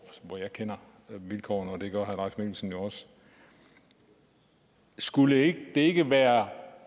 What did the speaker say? hvor jeg kender vilkårene og det gør herre mikkelsen jo også skulle det ikke være